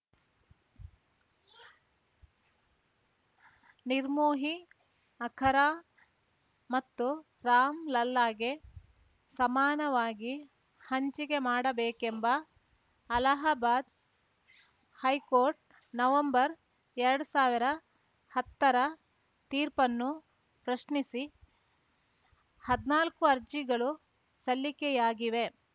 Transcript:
ನಿರ್ಮೋಹಿ ಅಖರಾ ಮತ್ತು ರಾಮ್‌ ಲಲ್ಲಾಗೆ ಸಮಾನವಾಗಿ ಹಂಚಿಕೆ ಮಾಡಬೇಕೆಂಬ ಅಲಹಾಬಾದ್‌ ಹೈಕೋರ್ಟ್‌ ನವೆಂಬರ್ ಎರಡ್ ಸಾವಿರ ಹತ್ತರ ತೀರ್ಪನ್ನು ಪ್ರಶ್ನಿಸಿ ಹದ್ನಾಲ್ಕು ಅರ್ಜಿಗಳು ಸಲ್ಲಿಕೆಯಾಗಿವೆ